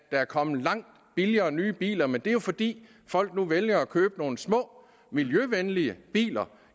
er kommet langt billigere nye biler men det er jo fordi folk nu vælger at købe nogle små miljøvenlige biler